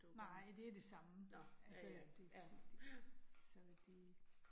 Nej, det det samme altså det det det, så det